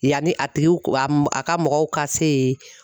Yanni a tigiw, a ka mɔgɔw ka se yen